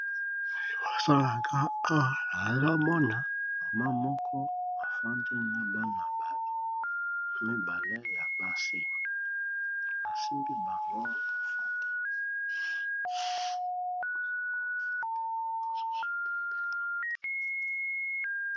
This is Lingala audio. Maman na bana mibale naye ya basi bazo kanga photos ya souvenir.